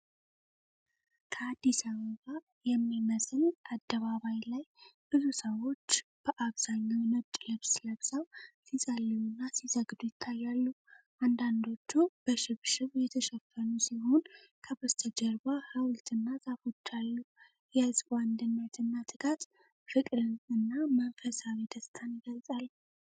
ከአዲስ አበባ የሚመስል አደባባይ ላይ ብዙ ሰዎች በአብዛኛው ነጭ ልብስ ለብሰው ሲጸልዩና ሲሰግዱ ይታያሉ። አንዳንዶቹ በሽብሽብ የተሸፈኑ ሲሆን፣ ከበስተጀርባ ሐውልትና ዛፎች አሉ። የህዝቡ አንድነትና ትጋት ፍቅርን እና መንፈሳዊ ደስታን ይገልፃል።